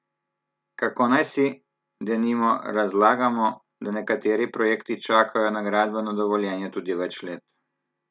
Kako naj si, denimo, razlagamo, da nekateri projekti čakajo na gradbeno dovoljenje tudi več let?